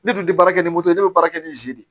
Ne tun tɛ baara kɛ ni moto ne bɛ baara kɛ ni nzi de ye